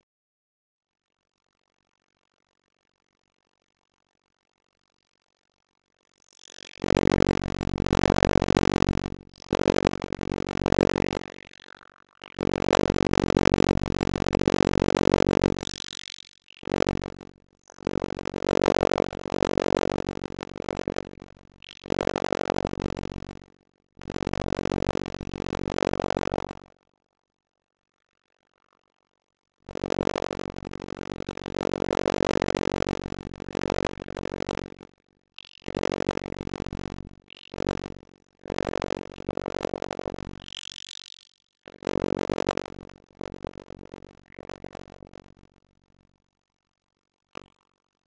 Því myndu miklu minni viðskipti verða með gjaldmiðla og um leið yrði gengi þeirra stöðugra.